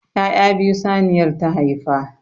Ya'ya biyu saniyar ta haifa.